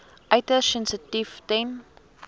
uiters sensitief ten